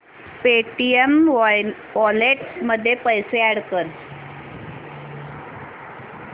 Paytm wallet मध्ये पैसे add कर